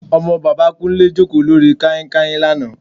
Ọmọ bàbá Kúnlé jókòó lórí Kanhinkanhin lánàá